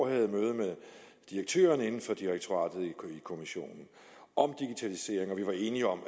jeg møde med direktøren i kommissionen og vi var enige om